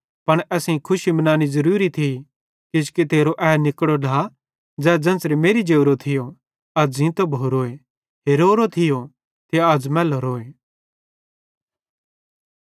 पन असेईं खुशी मनानी ज़रुरी थी किजोकि तेरो ए निकड़ो ढ्ला ज़ै ज़ेन्च़रे मेरि जोरो थियो अज़ ज़ींतो भोरोए हेरोरो थियो ते अज़ मैलोरोए